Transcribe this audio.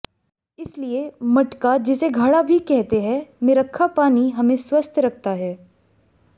इसलिए मटका जिसे घड़ा भी कहते हैं में रखा पानी हमें स्वस्थ रखता है